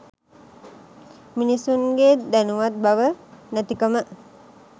මිනිසුන්ගේ දැනුවත් බව නැතිකම.